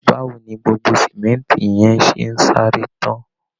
Báwo wo ni gbogbo símẹ́ńtì yẹn ṣe ń sáré tán